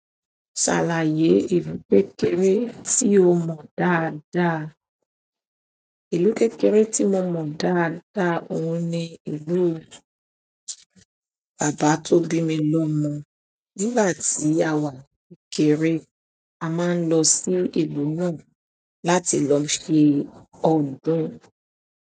Ṣàlàyé ìlú kékeré tí o mọ̀ dáadáa. Ìlú kékeré tí mo mọ̀ dáadáa òun ni ìlú bàbá tó bí mi lọ mọ̀. Nígbà tí àwa ni kékeré a máa ń lọ sí ìlú náà láti lọ ṣe ọdún.